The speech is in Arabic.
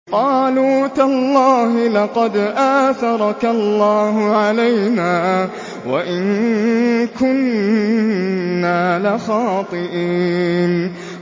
قَالُوا تَاللَّهِ لَقَدْ آثَرَكَ اللَّهُ عَلَيْنَا وَإِن كُنَّا لَخَاطِئِينَ